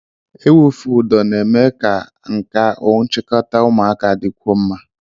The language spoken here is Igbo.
Ịwụfe ụdọ na-eme ka nkà nchikota ụmụaka dịkwuo mma.